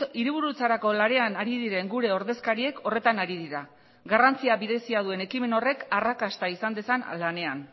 hiriburutzarako lanean ari diren gure ordezkariek horretan ari dira garrantzia berezia duen ekimen horrek arrakasta izan dezan lanean